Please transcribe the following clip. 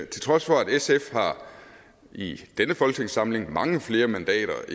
til trods for at sf i denne folketingssamling har mange flere mandater